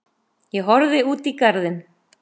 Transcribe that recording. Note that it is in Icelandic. Ég horfði út í garðinn.